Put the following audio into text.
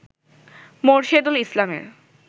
মোরশেদুল ইসলামের